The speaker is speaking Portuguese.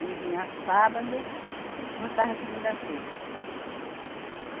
Ele vinha sábado, voltava segunda-feira.